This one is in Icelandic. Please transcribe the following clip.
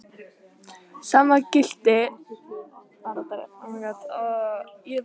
Sama gilti um nafnið Guðmundur, í eignarfalli Guðmundar.